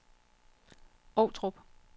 Ovtrup